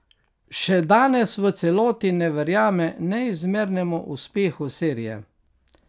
Še danes v celoti ne verjame neizmernemu uspehu serije.